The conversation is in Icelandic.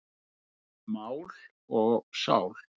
Mál og sál.